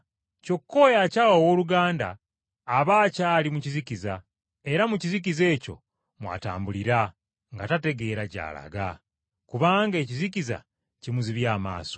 Kyokka oyo akyawa owooluganda, aba akyali mu kizikiza, era mu kizikiza ekyo mw’atambulira, nga tategeera gy’alaga, kubanga ekizikiza kimuzibye amaaso.